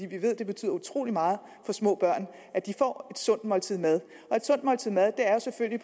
vi ved at det betyder utrolig meget for små børn at de får et sundt måltid mad og et sundt måltid mad er selvfølgelig